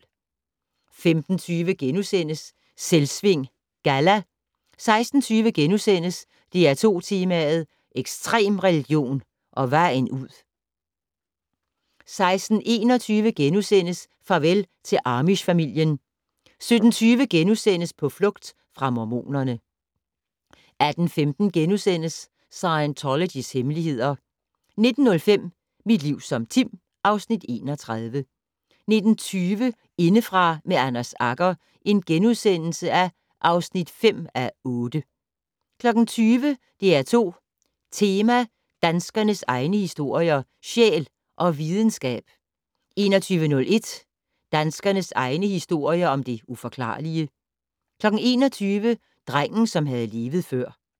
15:20: Selvsving Galla * 16:20: DR2 Tema: Ekstrem religion og vejen ud * 16:21: Farvel til amish-familien * 17:20: På flugt fra mormonerne * 18:15: Scientologys hemmeligheder * 19:05: Mit liv som Tim (Afs. 31) 19:20: Indefra med Anders Agger (5:8)* 20:00: DR2 Tema: Danskernes egne historier - Sjæl og Videnskab 20:01: Danskernes egne historier om det uforklarlige 21:00: Drengen, som havde levet før